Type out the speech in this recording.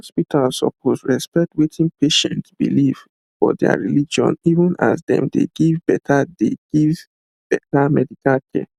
hospitals suppose respect wetin patients believe for their religion even as dem dey give better dey give better medical care